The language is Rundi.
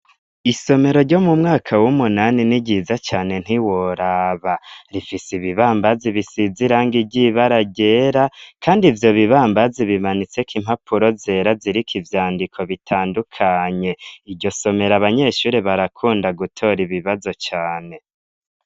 Isomero ryo mu mwaka w'umunani ni ryiza cane ntiworaba. Rifise ibibambazi bisize irangi ry'ibara ryera kandi ivyo bibambazi bimanitseko impapuro zera ziriko ivyandiko bitandukanye. Iryo somero abanyeshure barakunda gutora ibibazo cane.